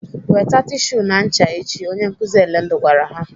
"Weta tishu na ncha echi!" Onye nkụzi Elendu gwara ha.